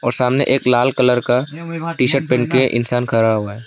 और सामने एक लाल कलर का टी शर्ट पहन के इंसान खड़ा हुआ है।